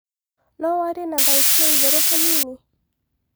no warĩe na thaũtĩ ĩĩ ĩgũrũ hanĩnĩ